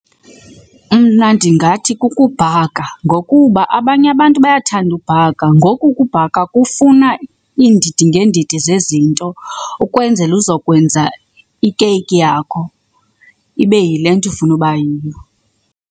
Mna ndingathi kukubhaka ngokuba abanye abantu bayathanda ubhaka. Ngoku ukubhaka kufuna iindidi ngeendidi zezinto ukwenzela uzokwenza ikeyiki yakho ibe yile nto ufuna iba yiyo.